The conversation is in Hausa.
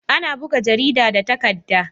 Ana buga jarida da takadda